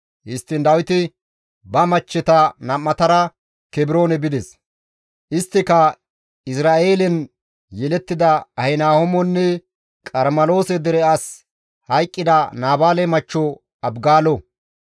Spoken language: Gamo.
Histtiin Dawiti ba machcheta nam7atara Kebroone bides. Isttika Izra7eelen yelettida Ahinahoomonne Qarmeloose dere as hayqqida Naabaale machcho Abigaalo.